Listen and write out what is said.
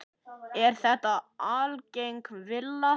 Er þetta algeng villa.